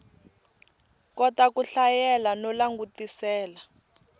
kota ku hlayela no langutisela